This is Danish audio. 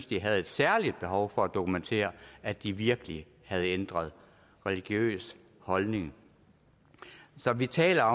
de havde et særligt behov for at dokumentere at de virkelig havde ændret religiøs holdning så vi taler